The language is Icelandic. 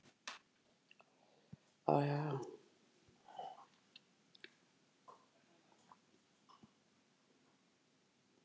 Gæsluvarðhaldsins var krafist á grundvelli almannahagsmuna